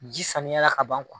Ji saniya la ka ban